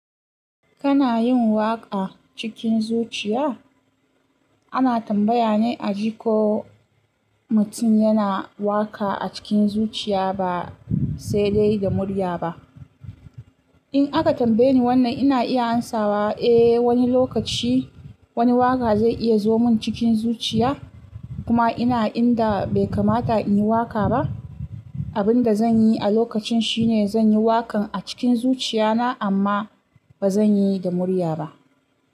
Kana yin waƙa cikin zuciya? Ana tambaya ne a ji ko mutum yana waƙa a cikin zuciya ba sai dai da murya ba. In aka tambaye ni wannan ina iya amsawa eh wani lokaci wani waƙa zai iya zo mun cikin zuciya kuma ina inda bai kamata in yi waƙa ba, abin da zan yi a lokacin shi ne zan yi waƙan a cikin zuciya na amma ba zan yi da murya ba.